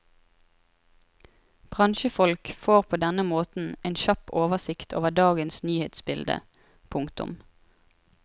Bransjefolk får på denne måten en kjapp oversikt over dagens nyhetsbilde. punktum